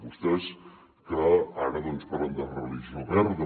vostès que ara doncs parlen de religió verda